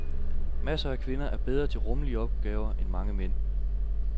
Masser af kvinder er bedre til rumlige opgaver end mange mænd.